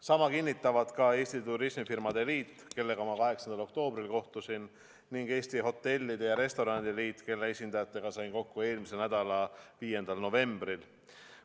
Sama kinnitavad ka Eesti Turismifirmade Liit, kellega ma 8. oktoobril kohtusin, ning Eesti Hotellide ja Restoranide Liit, kelle esindajatega sain kokku eelmisel nädalal, 5. novembril.